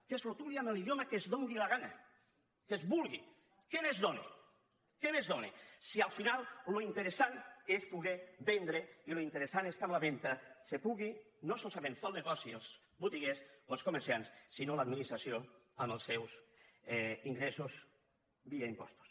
que es retoli en l’idioma que els doni la gana que es vulgui què més dóna si al final el interessant és poder vendre i el interessant és que amb la venda puguin no solament fer el negoci els botiguers o els comerciants sinó l’administració amb els seus ingressos via impostos